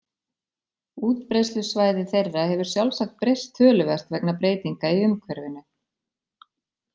Útbreiðslusvæði þeirra hefur sjálfsagt breyst töluvert vegna breytinga í umhverfinu.